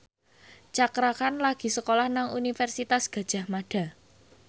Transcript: Cakra Khan lagi sekolah nang Universitas Gadjah Mada